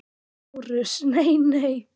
LÁRUS: Nei, nei!